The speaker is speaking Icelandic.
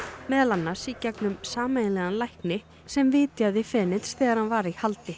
meðal annars í gegnum sameiginlegan lækni sem vitjaði þegar hann var í haldi